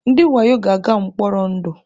Ndị wayo ga-aga mkpọrọ ndụ.